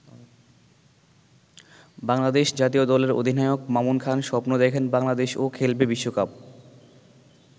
বাংলাদেশ জাতীয় দলের অধিনায়ক মামুন খান স্বপ্ন দেখেন বাংলাদেশও খেলবে বিশ্বকাপ।